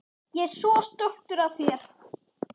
Ég er svo stoltur af þér.